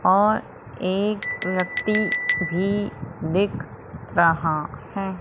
और एक व्यक्ति भी दिख रहा है।